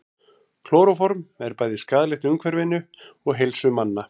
Klóróform er bæði skaðlegt umhverfinu og heilsu manna.